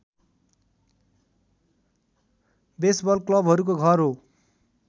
baseball क्लबहरूको घर हो